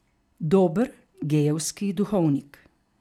Dober gejevski duhovnik.